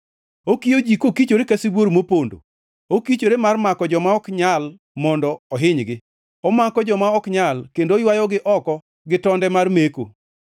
Okiyo ji kokichore ka sibuor mopondo; okichore mar mako joma ok nyal mondo ohinygi, omako joma ok nyal kendo oywayogi oko gi tonde mar meko.